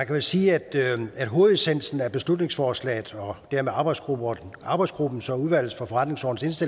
jo sige at hovedessensen i beslutningsforslaget og dermed arbejdsgruppens arbejdsgruppens og udvalget for forretningsordenens